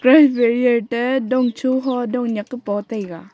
dong cho dong nak e pa taiga.